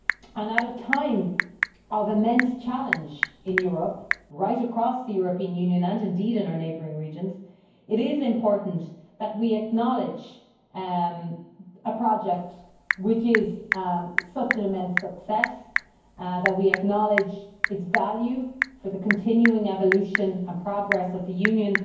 At a time of immense challenge in Europe, right across the European Union and in our neighbouring regions, it is important that we acknowledge a project which is such an immense success and that we acknowledge its value for the continuing evolution and progress of the Union,